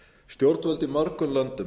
stjórnvöld í mörgum löndum